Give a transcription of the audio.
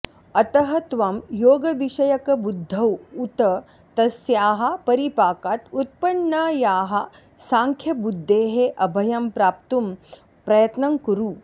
अतः त्वं योगविषयकबुद्धौ उत तस्याः परिपाकात् उत्पन्नायाः साङ्ख्यबुद्धेः अभयं प्राप्तुं प्रयत्नं कुरु